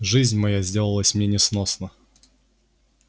жизнь моя сделалась мне несносна